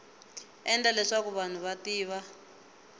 endla leswaku vanhu va tiva